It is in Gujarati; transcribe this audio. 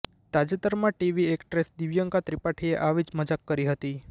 તાજેતરમાં ટીવી એક્ટ્રેસ દિવ્યંકા ત્રિપાઠીએ આવી જ મજાક કરી હતી